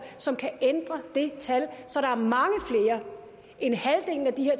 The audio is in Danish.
som kan ændre det tal så der er mange flere end halvdelen af de